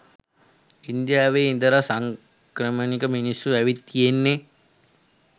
ඉන්දියාවේ ඉඳලා සංක්‍රමණික මිනිස්සු ඇවිත් තියෙන්නේ.